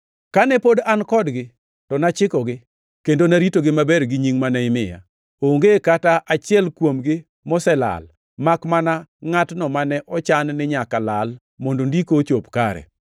Kane pod an kodgi, to nachikogi kendo naritogi maber gi nying mane imiya. Onge kata achiel kuomgi moselal, makmana ngʼatno mane ochan ni nyaka lal mondo Ndiko ochop kare.